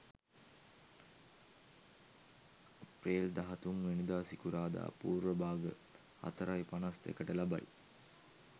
අප්‍රේල් 13 වැනිදා සිකුරාදා පූර්ව භාග 04.51 ට ලබයි.